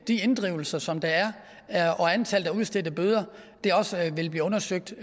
de inddrivelser som der er og antallet af udstedte bøder vil blive undersøgt